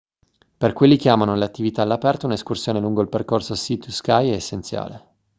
per quelli che amano le attività all'aperto un'escursione lungo il percorso sea to sky è essenziale